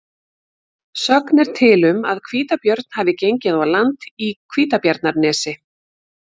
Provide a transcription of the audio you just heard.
Sögn er til um að hvítabjörn hafi gengið á land í Hvítabjarnarnesi.